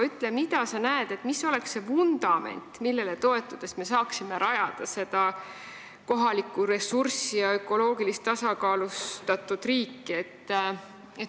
Ütle, mida sa näed selle vundamendina, millele toetudes me saaksime kasutada kohalikku ressurssi ja rajada ökoloogiliselt tasakaalustatud riiki.